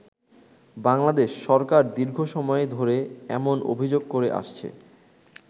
বাংলাদেশ সরকার দীর্ঘ সময় ধরে এমন অভিযোগ করে আসছে।